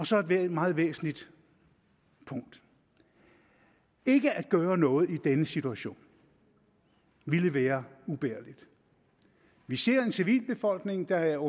så er der et meget væsentligt punkt ikke at gøre noget i denne situation ville være ubærligt vi ser en civilbefolkning der er